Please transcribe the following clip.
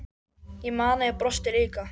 Ég man að ég brosti líka.